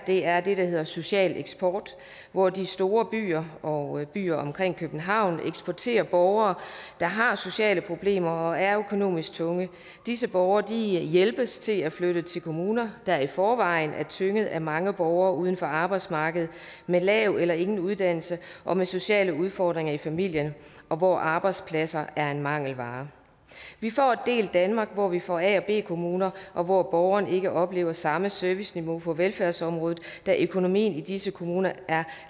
er det der hedder social eksport hvor de store byer og byer omkring københavn eksporterer borgere der har sociale problemer og er økonomisk tunge disse borgere hjælpes til at flytte til kommuner der i forvejen er tynget af mange borgere uden for arbejdsmarkedet med lav eller ingen uddannelse og med sociale udfordringer i familien og hvor arbejdspladser er en mangelvare vi får et delt danmark hvor vi får a og b kommuner og hvor borgeren ikke oplever samme serviceniveau på velfærdsområdet da økonomien i disse kommuner er